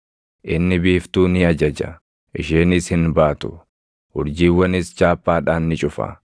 Inni biiftuu ni ajaja; isheenis hin baatu; urjiiwwanis chaappaadhaan ni cufa.